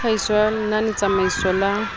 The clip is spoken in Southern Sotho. wa tlhahiso ya lenanetsamaiso la